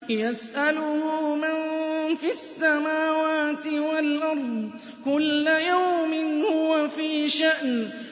يَسْأَلُهُ مَن فِي السَّمَاوَاتِ وَالْأَرْضِ ۚ كُلَّ يَوْمٍ هُوَ فِي شَأْنٍ